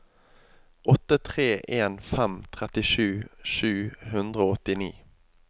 åtte tre en fem trettisju sju hundre og åttini